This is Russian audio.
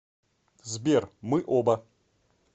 сбер мы оба